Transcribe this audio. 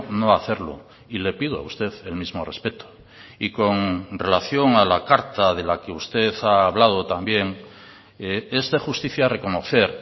no hacerlo y le pido a usted el mismo respeto y con relación a la carta de la que usted ha hablado también es de justicia reconocer